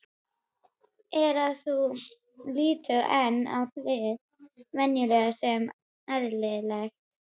er að þú lítur enn á hið venjulega sem eðlilegt.